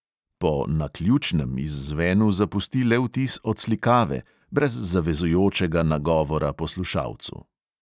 Po "naključnem" izzvenu zapusti le vtis odslikave, brez zavezujočega nagovora poslušalcu.